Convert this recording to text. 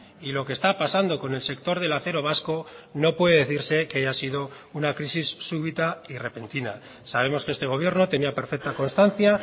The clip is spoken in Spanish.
y lo que está pasando con el sector del acero vasco no puede decirse que haya sido una crisis súbita y repentina sabemos que este gobierno tenía perfecta constancia